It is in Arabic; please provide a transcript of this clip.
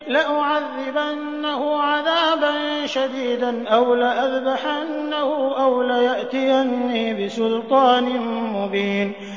لَأُعَذِّبَنَّهُ عَذَابًا شَدِيدًا أَوْ لَأَذْبَحَنَّهُ أَوْ لَيَأْتِيَنِّي بِسُلْطَانٍ مُّبِينٍ